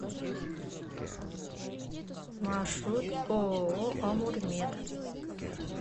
маршрут ооо амурмед